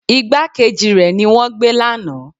Ìgbákejì rẹ ni wọ́n gbé lánàá.